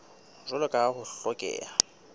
jwalo ka ha ho hlokeha